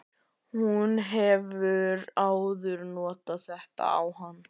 Hún hefur áður notað þetta á hann.